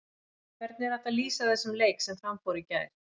Hvernig er hægt að lýsa þessum leik sem fram fór í gær?